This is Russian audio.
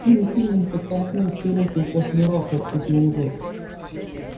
тим кинен подтолкнул чероки в последний раз и отступил назад